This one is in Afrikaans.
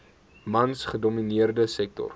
mans gedomineerde sektor